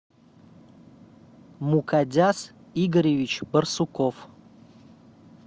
мукадяс игоревич барсуков